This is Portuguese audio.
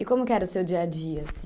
E como que era o seu dia a dia, assim?